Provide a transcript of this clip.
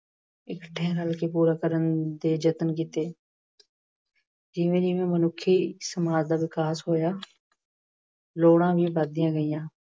ਇੱਕਠੇ ਰਲ ਕੇ ਪੂਰਾ ਕਰਨ ਦੇ ਯਤਨ ਕੀਤੇ। ਜਿਵੇਂ ਜਿਵੇਂ ਮਨੁੱਖੀ ਸਮਾਜ ਦਾ ਵਿਕਾਸ ਹੋਇਆ, ਲੋੜਾਂ ਵੀ ਵਧਦੀਆਂ ਗਈਆਂ।